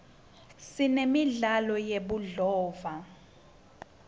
sinemidlalo yebudlova